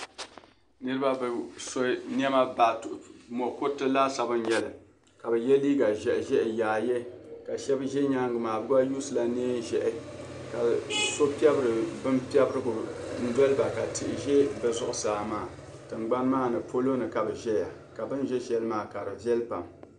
... niriba, bi so niɛma, mokuriti laasabu n-nyɛli. Ka bi yɛ liiga ʒehi ʒehi yaaye ka shɛb'ʒe nyaaŋgi maa. Bi gba use la niɛn ʒehi. Ka so piɛbiri bin piɛbirigu n-doli ba ka tihi ʒe bi zuɣusaa maa. Tingbani maa ni, polo ka bi ʒeya ka bin' ʒe shɛli maa ka di viɛli pam.